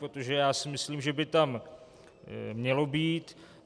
Protože já si myslím, že by tam mělo být.